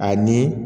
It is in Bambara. Ani